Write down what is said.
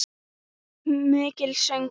Mikill söngur.